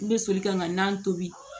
N bɛ soli ka na tobi